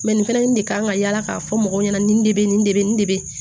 Mɛ nin fɛnɛ de kan ka yala k'a fɔ mɔgɔw ɲɛna nin de bɛ nin de bɛ nin de bɛ